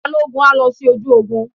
Balógun á lọ sí ojú ogun.